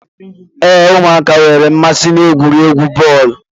Ee, ụmụaka nwere mmasị n'egwuregwu bọọlu.